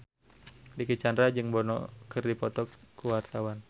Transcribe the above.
Dicky Chandra jeung Bono keur dipoto ku wartawan